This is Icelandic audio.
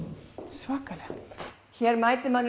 svakalega hér mætir manni